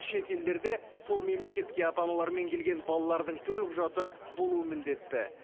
шет елдерде сол мемлекетке ата аналарымен келген балалардың төлқұжаты болуы міндетті